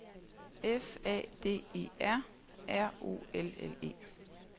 F A D E R R O L L E